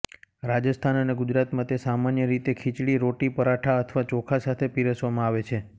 રાજસ્થાન અને ગુજરાતમાં તે સામાન્ય રીતે ખીચડી રોટી પરાઠા અથવા ચોખા સાથે પીરસવામાં આવે છે